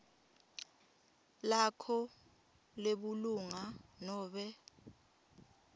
lakho lebulunga nobe